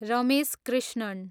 Ramesh Krishnan